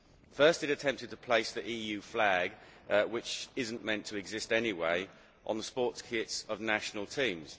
First, it attempted to place the EU flag which is not meant to exist anyway on the sports kits of national teams.